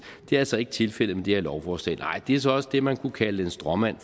det er altså ikke tilfældet med det her lovforslag nej det er så også det man kunne kalde en stråmand